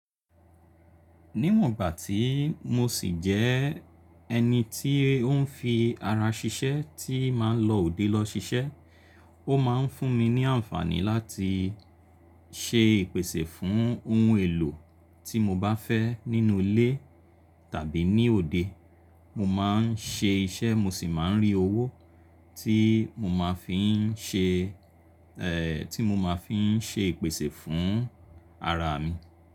Níwọ̀n gbà tí mo ṣì jẹ ẹni tí ó ń fi ara ṣiṣẹ́ tí máa ń lọ òde lọ ṣiṣẹ́, ó máa ń fún mi ní àǹfààní láti ṣe ìpèsè fún ohun èlò tí mo bá fẹ́ nínú ilé tàbí ní òde. Mo máa ń ṣe iṣẹ́ mo sì máa ń rí owó tí mo máa fi ń ṣe, ẹ́ tí mo máa fi ń ṣe ìpèsè fún ara mi.